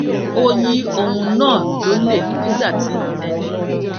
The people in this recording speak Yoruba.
ó yi ohun naa lole nígbà tí ẹnì